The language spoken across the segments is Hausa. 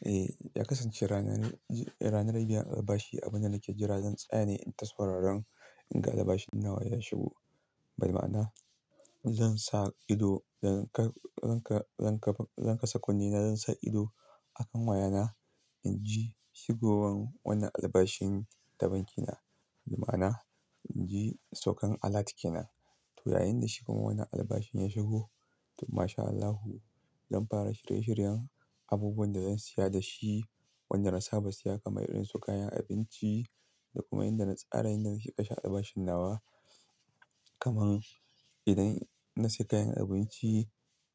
Eh, ya kasance ranar, ranar biyar albashi. Abin da nake jira, zan tsaya ne in sauraron in ga albashin nawa ya shigo. Bi maa'na zan sa ido, zan ka, zan ka, zan ka, zan kasa kunne na, zan sa ido a kan wayana inji shigowan wanda albashin da banki na. Bima'ana, inji saukan alert kenan. To, yayin da shi kuma wannan albashin ya shigo, to ma sha Allahu. Zan fara shirye shiryen abubuwan da zan siya da shi, wanda na saba siya kamar irin su kayan abinci da kuma inda na tsara inda nake kashe albashin nawa. Kaman idan na siya kayan abinci,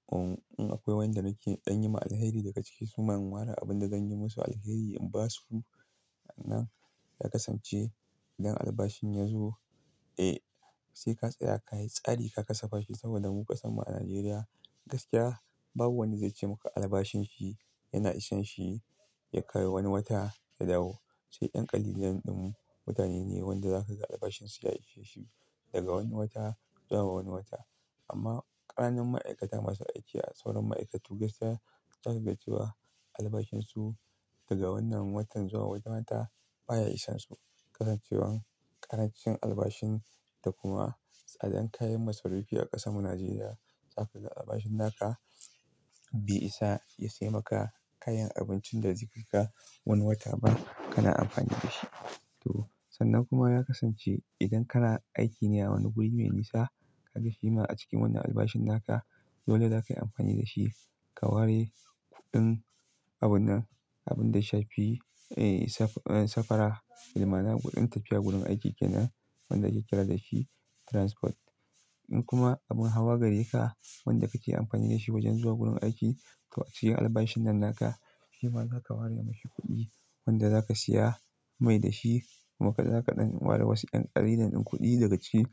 um, in akwai wanda nake don yi ma alheri daga ciki su ma in ware abin da zan yi masu alheri in ba su. Nan ya kasance idan albashin ya zo, eh, sai ka tsaya ka yi tsari ka kasafa shi saboda mu ƙasa mu a Najeriya gaskiya babu wanda zai ce maka albashin shi yana isanshi ya kai wani wata ya dawo. Sai 'yan ƙalijan din mutane ne, wanda zaka ga albashin su ya ishe shi daga wani wata zuwa wani wata. Amma ƙananan ma'aikata masu aiki a sauran ma'aikatu gaskiya zaka ga cewa albashin su daga wannan watan zuwa wani wata baya isansu. Kasancewan ƙarancin albashin da kuma tsadan kayan masarufi a ƙasan mu Najeriya zaku ga albashin naka bai isa ya sai maka kayan abincin da zai kai ka wani wata ba kana amfani da shi. To, sannan kuma ya kasance idan kana aiki ne a wani guri me nisa, ka ga shi ma a cikin wannan albashin naka, dole zakayi amfani da shi ka ware kuɗin abun nan, abun da yafi, eh, safa, safara. Bima'ana kuɗin tafiya gurin aiki kenan wanda ake kira dashi transport. In kuma abin hawa gare ka wanda kake amfani da shi wajen zuwa gun aiki, to a cikin albashin nan naka, shima zaka ware mashi kuɗi wanda zaka siya mai dashi kuma kai za kaɗan ware wasu 'yan ƙalilan din kuɗi daga ciki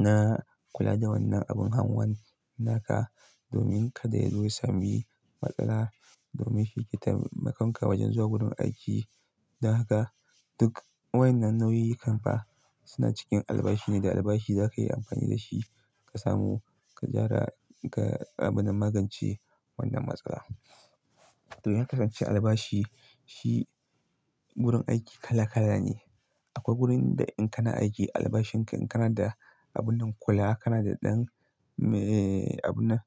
na kula da wannan abin hanwan naka domin kada ya zu ya sami matsala. Domin shi yake taimakon ka wajen zuwa gurin aiki. Dan haka duk wain nan nau'i kan fa suna cikin albashi ne da albashi zaka yi amfani da shi ka samu, ka gyara ga abun na magance wannan matsala. To, in kasance albashi shi gun aiki kala kala ne. Akwai gurin da in kana aiki albashin ka in kana da abun nan kula kana da ɗan, eh, abun nan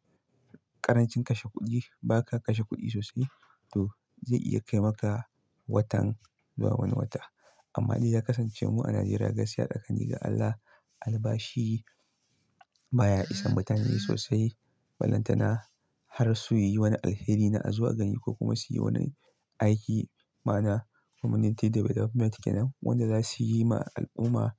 ƙarancin kashe kuɗi ba ka kashe kuɗi sosai. To, zai iya kai maka watan zuwa wani wata. Amma dai ya kasance mu a Najeriya gaskiya da tsaƙani ga Allah, albashi baya isan mutane sosai. Ballantana har su yi wani alheri na azo a gani ko kuma su yi wani aiki ma'ana community development kenan wanda za su yi ma al'umma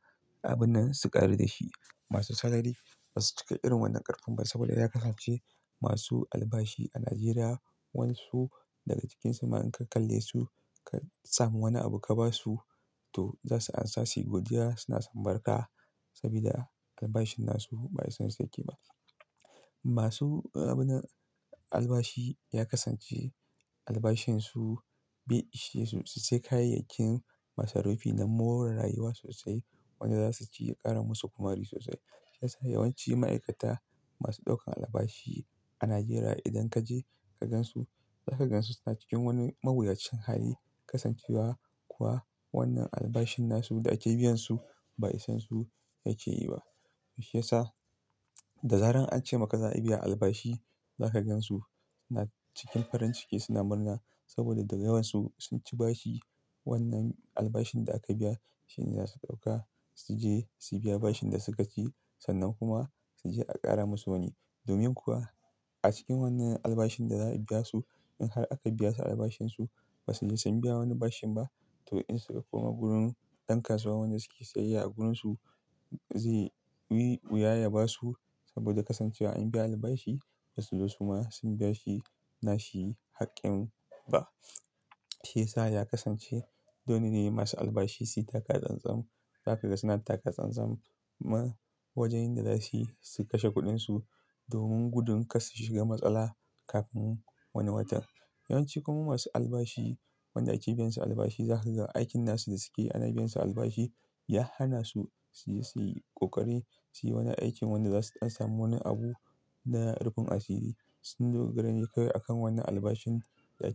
abun nan su ƙaru da shi. Masu sarari basu cika irin wannan ƙarfin ba saboda ya kasance masu albashi a Najeriya, wan su daga cikin su ma in ka kalle su ka samu wani abu ka ba su, to za su amsa si godiya suna sambar ka sabida albashin nasu ba isan su yake ba. Masu abin nan albashi ya kasance albashin su bai ishe su su sai kayayyakin masarufi na more rayuwa sosai wanda za su ci ya ƙara musu ƙumari sosai. Shi ya sa yawanci ma'aikata masu ɗaukan albashi a Najeriya idan kaje ka gansu, za ka gansu suna cikin wani maguyacen hali kasancewa kuwa wannan albashin nasu da ake biyan su bai isansu yake yi ba. Shi ya sa da zaran an ce maka za a biya albashi, za ka gansu suna cikin farin ciki suna murna saboda daga yawansu sun ci bashi wannan albashin da aka biya shi ne za su ɗauka su je su biya bashin da suka ci sannan kuma su je a ƙara musu wani. Domin kuwa a cikin wannan albashin da za a biya su in har aka biya su albashin su basu ji sun biya wani bashin ba to in suka koma gurin ɗan kasuwa wanda suke sayayya a gurun su zai yi wuya ya ba su saboda kasancewa an biya albashi basu zo su ma sun biya shi nashi haƙƙin ba. Shi ya sa ya kasance dole ne masu albashi su yi taka tsantsam. Za ka ga suna taka tsantsam ma wajen inda za suyi su kashe kuɗin su domin gudun kar su shiga matsala kafin wani watan. Yawanci kuma masu albashi wanda ake biyan su albashi za ka ga aikin nasu da suke ana biyan su albashi ya hana su su yi, su yi ƙoƙari su yi wani aikin wanda za su ɗan samu wani abu na rufin asiri sun dogara ne kai a kan wannan albashin da ake.